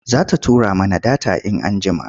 Za ta tura mana data in anjjima,